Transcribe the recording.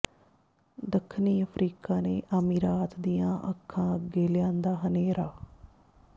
ਦੱਖਣੀ ਅਫਰੀਕਾ ਨੇ ਅਮੀਰਾਤ ਦੀਆਂ ਅੱਖਾਂ ਅੱਗੇ ਲਿਆਂਦਾ ਹਨੇਰਾ